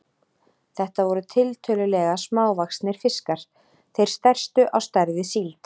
Þetta voru tiltölulega smávaxnir fiskar, þeir stærstu á stærð við síld.